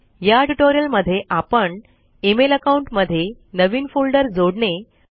या ट्यूटोरियल मध्ये आपण इमेल अकाउंट मध्ये नवीन फोल्डर जोडणे